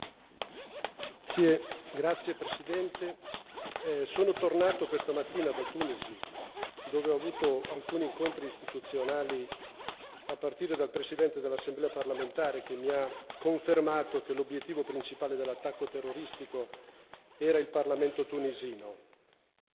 Signor Presidente, onorevoli colleghi, sono tornato questa mattina da Tunisi dove ho avuto alcuni incontri istituzionali a partire dal Presidente dell'Assemblea parlamentare, che mi ha confermato che l'obiettivo principale dell'attacco terroristico era il parlamento tunisino.